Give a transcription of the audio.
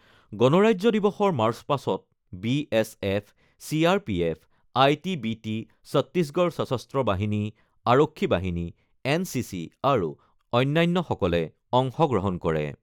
গণৰাজ্য দিৱসৰ মাৰ্চপাষ্টত B S F, C R P F, I T B P, Chhattisgarh সশস্ত্ৰ বাহিনী, আৰক্ষী বাহিনী, এন চি চি আৰু অন্যান্যসকলে অংশগ্ৰহণ কৰে।